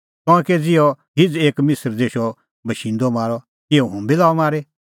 तंऐं कै ज़िहअ हिझ़ एक मिसर देशो बशिंदअ मारअ तिहअ हुंबी लाअ मारी